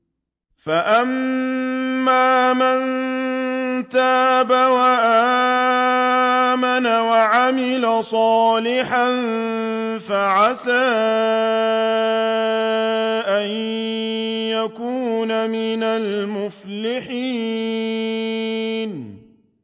فَأَمَّا مَن تَابَ وَآمَنَ وَعَمِلَ صَالِحًا فَعَسَىٰ أَن يَكُونَ مِنَ الْمُفْلِحِينَ